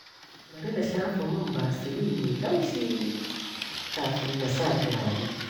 Bari na shafa man Vaseline mai laushi kafin na sa turare.